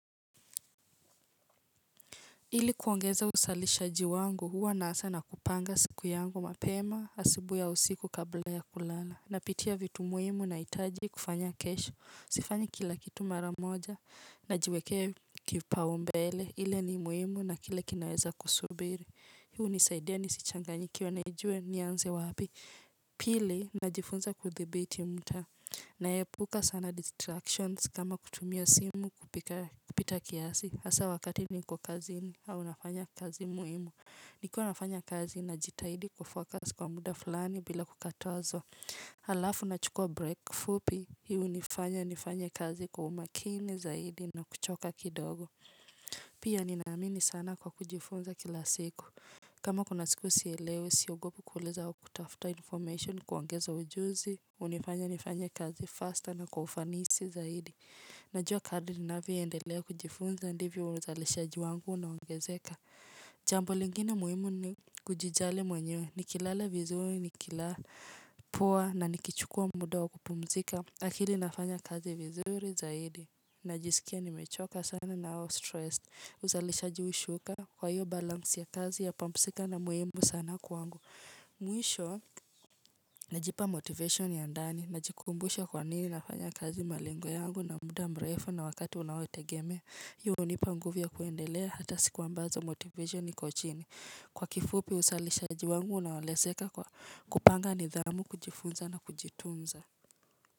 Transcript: Ili kuongeza uzalishaji wangu huwa naanza na kupanga siku yangu mapema asubuhi au usiku kabla ya kulala. Napitia vitu muhimu nahitaji kufanya kesho. Sifanyi kila kitu maramoja najiwekea kipaumbele. Ile ni muhimu na kile kinaweza kusubiri. Hiu hunisaidia nisichanganyikiwe nijue nianze wapi. Pili najifunza kuthibiti mtaa. Naepuka sana distractions kama kutumia simu kupita kiasi. Hasa wakati niko kazini au nafanya kazi muhimu. Nikiwa nafanya kazi najitahidi kufocus kwa muda fulani bila kukatazwa. Halafu nachukua break fupi. Hii hunifanya nifanya kazi kwa umakini zaidi na kuchoka kidogo. Pia ninaamini sana kwa kujifunza kila siku. Kama kuna siku sielewe siogopi kuuliza au kutafuta information kuongeza ujuzi hunifanya nifanye kazi fasta na kwa ufanisi zaidi. Najua kadri ninavyoendelea kujifunza ndivyo uzalishaji wangu na unaongezeka. Jambo lingine muhimu ni kujijali mwenye nikilala vizuri nikila poa na nikichukua muda wa kupumzika. Akili inafanya kazi vizuri zaidi. Najisikia nimechoka sana na au stress. Uzalishaji hushuka kwa hiyo balance ya kazi ya pampsika na muhimu sana kwangu. Mwisho najipa motivation ya ndani. Najikumbusha kwa nini nafanya kazi malengo yangu na muda mrefu na wakati unaotegemea. Hiyo hunipa nguvu ya kuendelea hata siku ambazo motivation iko chini. Kwa kifupi uzalisha wangu unaeleseka kupanga nidhamu kujifunza na kujitunza.